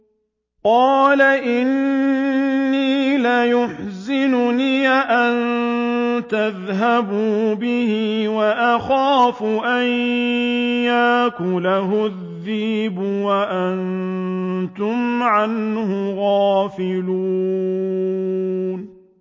قَالَ إِنِّي لَيَحْزُنُنِي أَن تَذْهَبُوا بِهِ وَأَخَافُ أَن يَأْكُلَهُ الذِّئْبُ وَأَنتُمْ عَنْهُ غَافِلُونَ